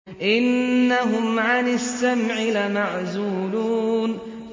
إِنَّهُمْ عَنِ السَّمْعِ لَمَعْزُولُونَ